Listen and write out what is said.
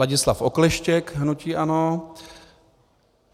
Ladislav Okleštěk - hnutí ANO